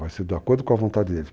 Vai ser de acordo com a vontade deles.